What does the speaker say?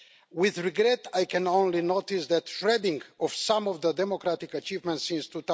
With regret I can only note the shredding of some of the democratic achievements since